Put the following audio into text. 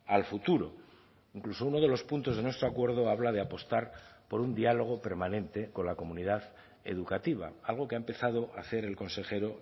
al futuro incluso uno de los puntos de nuestro acuerdo habla de apostar por un diálogo permanente con la comunidad educativa algo que ha empezado a hacer el consejero